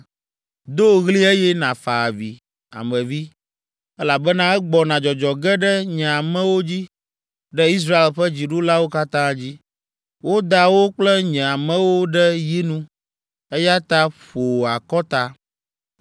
Do ɣli eye nàfa avi, Ame vi, elabena egbɔna dzɔdzɔ ge ɖe nye amewo dzi, ɖe Israel ƒe dziɖulawo katã dzi. Woda wo kple nye amewo ɖe yinu, eya ta ƒo wò akɔta.